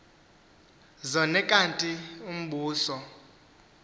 zone kanti umbuso